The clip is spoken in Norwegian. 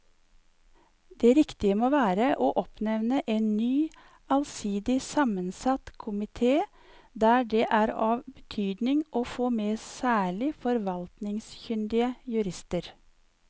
Det riktige må være å oppnevne en ny allsidig sammensatt komite der det er av betydning å få med særlig forvaltningskyndige jurister.